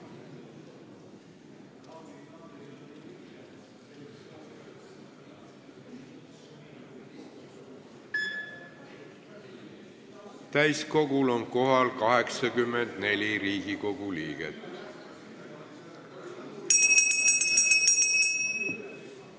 Kohaloleku kontroll Täiskogul on kohal 84 Riigikogu liiget.